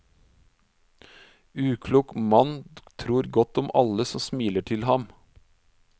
Uklok mann tror godt om alle som smiler til ham.